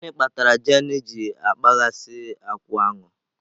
Gịnị kpatara jane ji na-akpaghasị akwụ aṅụ?